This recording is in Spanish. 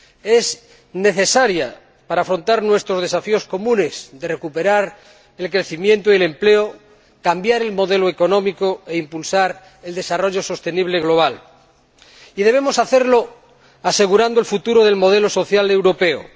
Es necesario para afrontar nuestros desafíos comunes de recuperar el crecimiento y el empleo, cambiar el modelo económico e impulsar el desarrollo sostenible global, y debemos hacerlo asegurando el futuro del modelo social europeo.